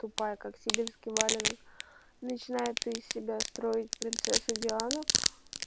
тупая как сибирский валенок начинает из себя строить принцессу диану